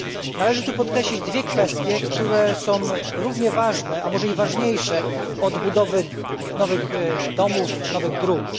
Należy tu podkreślić dwie kwestie, które są równie ważne, a może i ważniejsze od budowy nowych domów, nowych dróg.